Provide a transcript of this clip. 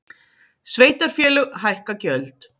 Sveitarfélög hækka gjöld